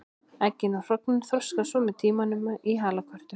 Eggin eða hrognin þroskast svo með tímanum í halakörtur.